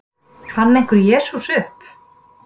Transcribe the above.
Fann einhver Jesú upp?